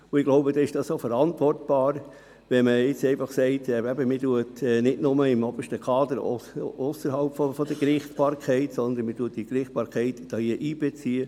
Ich glaube, dann ist es auch verantwortbar zu sagen, man mache das nicht bloss beim obersten Kader ohne die Gerichtsbarkeit, sondern man beziehe die Gerichtsbarkeit mit ein.